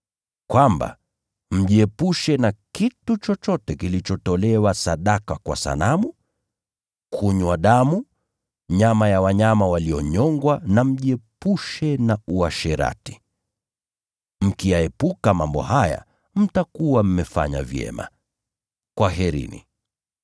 Kwamba mjiepushe na vyakula vilivyotolewa sadaka kwa sanamu, na damu, au kula nyama ya mnyama aliyenyongwa, na mjiepushe na uasherati. Mkiyaepuka mambo haya, mtakuwa mmefanya vyema. Kwaherini.